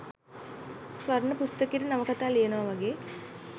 ස්වර්ණ පුස්තකයට නවකතා ලියනවා වගේ